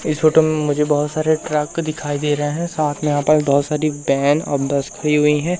इस फोटो में मुझे बहोत सारे ट्रक दिखाई दे रहे है साथ में यहां पर बहोत सारी वैन और बस खड़ी हुई है।